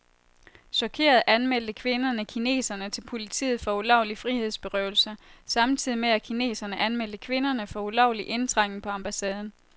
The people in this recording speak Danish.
Chokerede anmeldte kvinderne kineserne til politiet for ulovlig frihedsberøvelse, samtidig med at kineserne anmeldte kvinderne for ulovlig indtrængen på ambassaden.